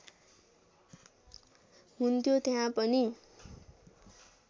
हुन्थ्यो त्यहाँ पनि